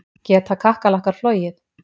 Geta kakkalakkar flogið?